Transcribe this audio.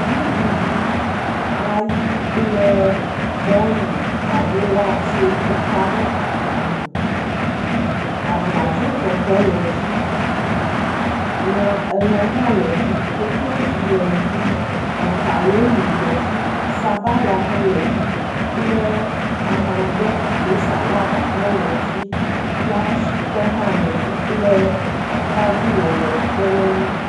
Nuɖuɖu ayi kple mɔlu alo watsɛ woka ɖe agba me. abladzotɔtɔ le edzi, lã elã hã le edzi, koklozi le edzi, makaɖoni le edzi, sabala hã le edzi kple amagbe alo salada hã le edzi ya shitɔ hã le edzi. Atadi wɔwɔ kpe ɖe eŋu.